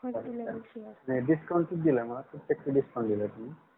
नाही discount किती दिल मग किती टक्के discount दिल तुम्ही